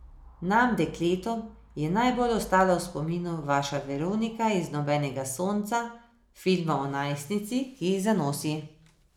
Nam, dekletom, je najbolj ostala v spominu vaša Veronika iz Nobenega sonca, filma o najstnici, ki zanosi.